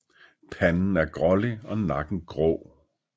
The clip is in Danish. Panden er grålig og nakken grå